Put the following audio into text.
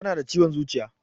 Tana da ciwon zuciya